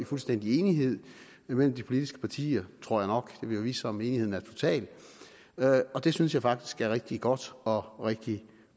fuldstændig enighed mellem de politiske partier tror jeg nok vil jo vise sig om enigheden er total og det synes jeg faktisk er rigtig godt og rigtig